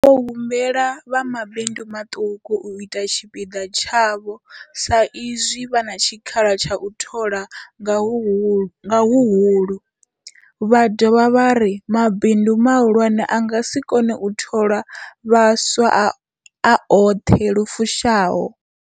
Vho humbela vha mabindu maṱuku u ita tshipiḓa tshavho sa izwi vha na tshikhala tsha u thola nga huhulu, vha dovha vha ri mabindu mahulwane a nga si kone u thola vhaswa a oṱhe lu fushaho.